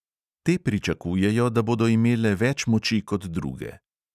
Te pričakujejo, da bodo imele več moči kot druge.